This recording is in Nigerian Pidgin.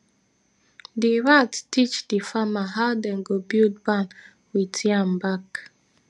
di rat teach di farmer how dem go build barn wit yam back